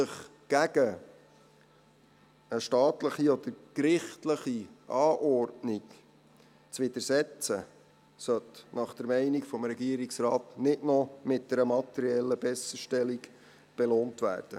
Sich einer staatlichen oder gerichtlichen Anordnung zu widersetzen, sollte nach Meinung des Regierungsrates nicht noch mit einer materiellen Besserstellung belohnt werden.